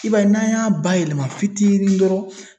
I b'a ye n'an y'a bayɛlɛma fitinin dɔrɔn